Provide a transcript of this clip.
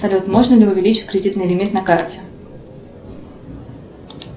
салют можно ли увеличить кредитный лимит на карте